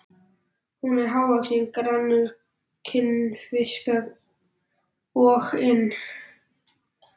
Hann er hávaxinn, grannur, kinnfiskasoginn og með haukfrán augu.